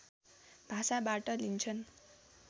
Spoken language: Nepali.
भाषाबाट लिन्छन्